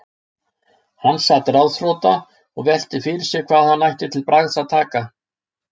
Hann sat ráðþrota og velti fyrir sér hvað hann ætti að taka til bragðs.